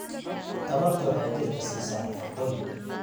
Tamartu waxay jidhka siisaa nafaqooyin.